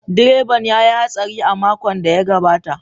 Direban ya yi hatsari a makon da ya gabata.